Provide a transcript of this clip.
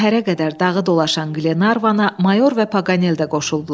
Səhərə qədər dağı dolaşan Glenarvana mayor və Paqanel də qoşuldular.